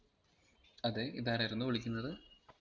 അതെ ഇത് ആരായിരുന്നു വിളിക്കുന്നത്